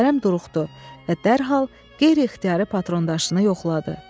Kərəm duruxdu və dərhal qeyri-ixtiyarı patrondaşını yoxladı.